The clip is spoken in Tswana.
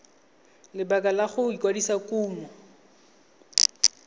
lebaka la go kwadisa kumo